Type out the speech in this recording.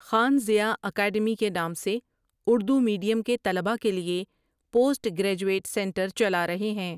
Khan Zia academy کے نام سے اردو میڈیم کے طلباء کے لیے پوسٹ گرائجویٹ سنٹر چلارہے ہیں ۔